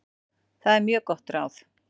Það er mjög gott ráð.